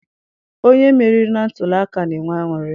Onye meriri na ntuliaka na-enwe aṅụrị.